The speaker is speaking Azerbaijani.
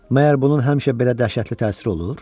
Məyər bunun həmişə belə dəhşətli təsiri olur?